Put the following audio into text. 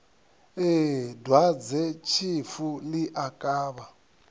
ee dwadzetshifu ḽi a kavha